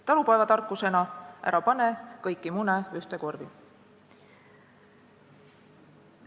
Talupojatarkusena: ära pane kõiki mune ühte korvi.